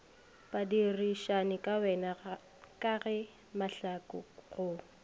badirišanikawena ka ge mahlaku go